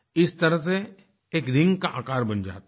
इस तरह से एक रिंग का आकार बन जाता है